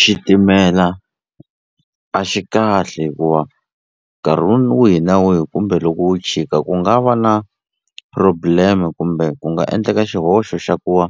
Xitimela a xi kahle hikuva nkarhi wihi na wihi kumbe loko wo chika ku nga va na problem-e kumbe ku nga endleka xihoxo xa ku va